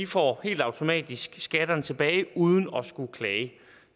får helt automatisk skatterne tilbage uden at skulle klage